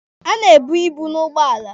A na-ebu ibu n'ugbọala.